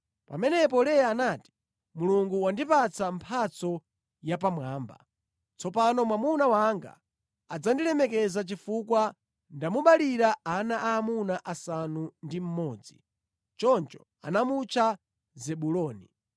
Pamenepo Leya anati, “Mulungu wandipatsa mphatso yapamwamba. Tsopano mwamuna wanga adzandilemekeza chifukwa ndamubalira ana aamuna asanu ndi mmodzi.” Choncho anamutcha Zebuloni.